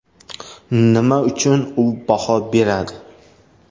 Nima uchun u baho beradi?